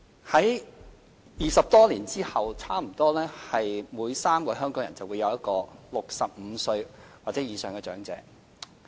在20多年後，差不多每3個香港人之中，便有一個是65歲或以上的長者。